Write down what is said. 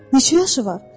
Neçə yaşı var?